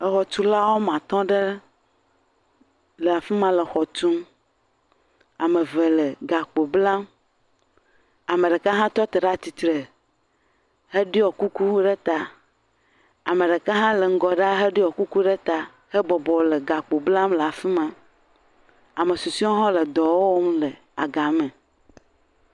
Exɔtula woame atɔ̃ ɖe le afi ma le xɔ tum. Ame ve le gakpo blam. Ame ɖeka hã tɔ te ɖe ati tre heɖiɔ kuku ɖe ta. Ame ɖeka hã le ŋgɔ ɖaa heɖiɔ kuku ɖe ta hebɔbɔ le gakpo blam le afi ma. Ame susɔewo hã le dɔ wɔm le agame.